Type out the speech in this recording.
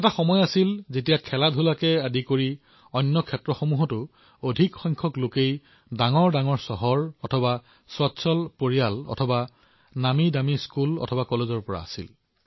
এটা সময় আছিল যেতিয়া ক্ৰীড়াৰ পৰা আৰম্ভ কৰি অন্য খণ্ডতো ডাঙৰ ডাঙৰ চহৰ অথবা ডাঙৰডাঙৰ পৰিয়াল অথবা নামীদামী বিদ্যালয় অথবা মহাবিদ্যালয়ৰ পৰা হৈছিল